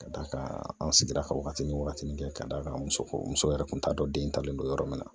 Ka d'a kan an sigira ka wagatinin wagatini kɛ k'a d'a kan muso muso muso yɛrɛ kun t'a dɔn den talen don yɔrɔ min na